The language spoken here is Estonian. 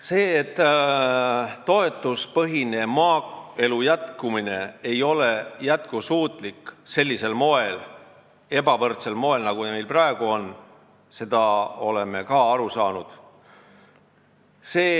Sellest, et selline ebavõrdne ja toetuspõhine maaelu, nagu meil praegu on, ei ole jätkusuutlik, oleme ka aru saanud.